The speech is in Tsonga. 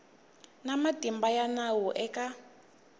na matimba ya nawu eka